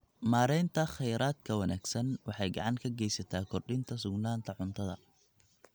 Maareynta kheyraadka wanaagsan waxay gacan ka geysataa kordhinta sugnaanta cuntada.